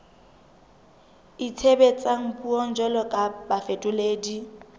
itshebetsang puong jwalo ka bafetoledi